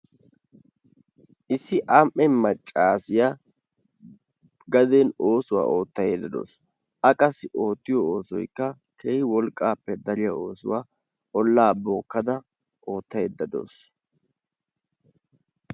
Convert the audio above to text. Issi ami''e maccassiyaa gaden oosuwaa oottayde dawusu. A qassi oottiyo oosoykka keehi wolqqappe dariyaa oosuwaa olaa bookkada oottaydda dawusu.